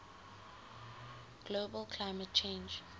global climate change